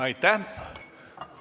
Aitäh!